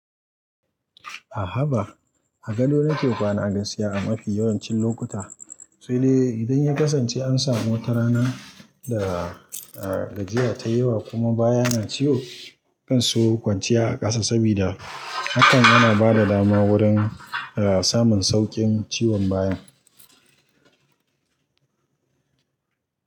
A'a haba. Agado na ke kwana a gaskiya a mafi yawancin lokuta. Sai dai idan ya kasance an samu ta rana da gajiya ta yawa kuma baya na ciwo, zan so kwanciya a kasa saboda hakan yana bada dama wurin samun saukin ciwon baya.